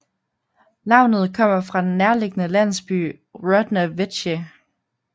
Navnet kommer fra den nærliggende landsby Rodna Veche